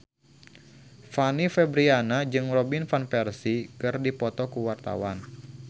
Fanny Fabriana jeung Robin Van Persie keur dipoto ku wartawan